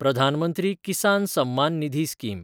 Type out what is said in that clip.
Pradhan Mantri Kisan Samman Nidhi scheme